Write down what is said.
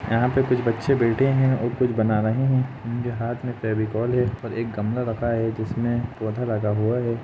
यहाँ पे कुछ बच्चे बैठे है और कुछ बना रहे है उनके हाथ में फेविकोल है और एक गमला रखा है जिसमे पौधा लगा हुआ है।